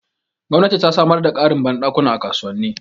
Gwamnati ta samar da ƙarin banɗakuna a kasuwanni